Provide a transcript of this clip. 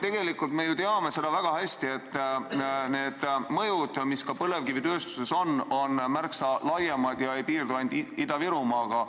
Tegelikult me ju teame väga hästi, et need mõjud, mis ka põlevkivitööstusel on, on märksa laiemad ega piirdu ainult Ida-Virumaaga.